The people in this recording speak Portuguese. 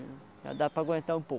já dá para aguentar um pouco.